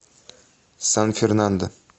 сан фернандо